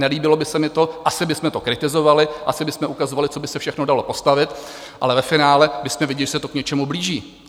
Nelíbilo by se mi to, asi bychom to kritizovali, asi bychom ukazovali, co by se všechno dalo postavit, ale ve finále bychom viděli, že se to k něčemu blíží.